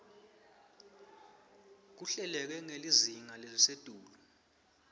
kuhleleke ngelizinga lelisetulu